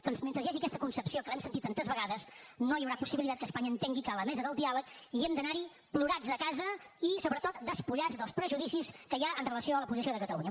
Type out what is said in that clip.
doncs mentre hi hagi aquesta concepció que l’hem sentit tantes vegades no hi haurà possibilitat que espanya entengui que a la mesa del diàleg hi hem d’anar plorats de casa i sobretot despullats dels prejudicis que hi ha amb relació a la posició de catalunya